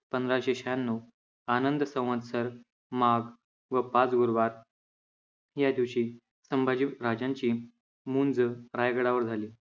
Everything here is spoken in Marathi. पंधराशे शहाण्णव आनंद संवस्तर माघ व भाद गुरुवार या दिवशी संभाजी राजांची मुंज रायगडावर झाली